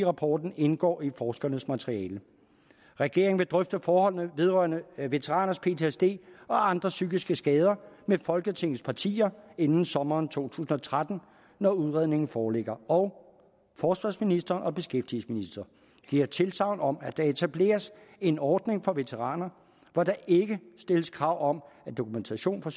rapporten indgår i forskernes materiale regeringen vil drøfte forholdene vedrørende veteraners ptsd og andre psykiske skader med folketingets partier inden sommeren to tusind og tretten når udredningen foreligger og forsvarsministeren og beskæftigelsesministeren giver tilsagn om at der etableres en ordning for veteraner hvor der ikke stilles krav om at dokumentation for